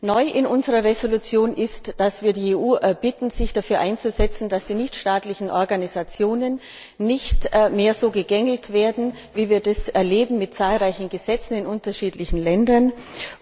Neu in unserer Entschließung ist, dass wir die EU bitten, sich dafür einzusetzen, dass die nichtstaatlichen Organisationen nicht mehr so gegängelt werden, wie wir es mit zahlreichen Gesetzen in unterschiedlichen Ländern erleben.